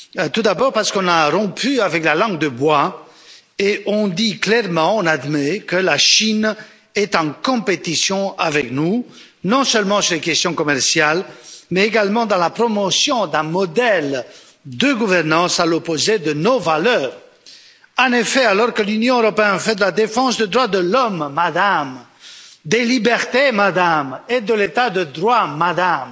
Tout d'abord parce qu'on a rompu avec la langue de bois et qu'on dit clairement, qu'on admet que la Chine est en concurrence avec nous, non seulement sur les questions commerciales, mais également pour la promotion d'un modèle de gouvernance à l'opposé de nos valeurs. En effet, alors que l'Union européenne fait de la défense des droits de l'homme, Madame, des libertés, Madame, et de l'état de droit, Madame,